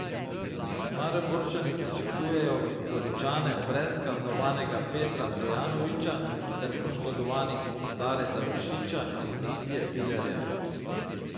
Mariborčani pričakujejo Goričane brez kaznovanega Petra Stojanovića ter poškodovanih Dareta Vršiča in Mitje Vilerja.